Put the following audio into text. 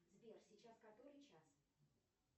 сбер сейчас который час